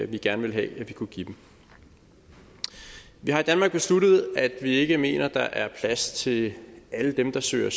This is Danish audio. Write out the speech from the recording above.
vi gerne ville have vi kunne give dem vi har i danmark besluttet at vi ikke mener der er plads til alle dem der søger